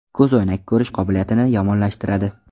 Ko‘zoynak ko‘rish qobiliyatini yomonlashtiradi .